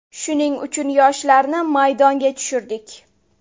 Shuning uchun yoshlarni maydonga tushirdik.